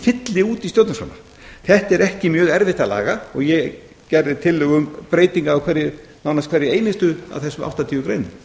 fylli út í stjórnarskrána þetta er ekki mjög erfitt að laga og ég gerði tillögu um breytingu á nánast hverri einustu af þessum áttatíu